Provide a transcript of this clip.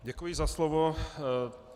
Děkuji za slovo.